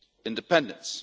independence.